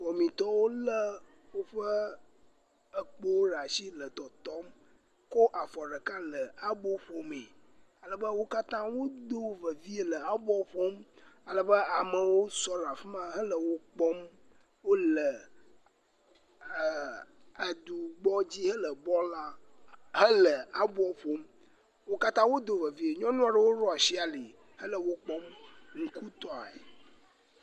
Wɔmitɔwo le woƒe ekpowo ɖe asi le tɔtɔm ko afɔ ɖeka le abo ƒomee. Ale be wo katã wodo vevie le aboa ƒom. Ale be amewo sɔ ɖe afi ma hele wo kpɔm. Wo le e.. Aɖukpoadzi hele bɔl la hele abo ƒom. Wo katã wodo vevie. Nyɔnua ɖewo woɖo asi ali hele wokpɔm nukutɔe.